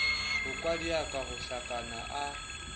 ho kwadiaka ho hlakana a